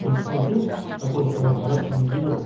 тұтынушы жасаушыға қарап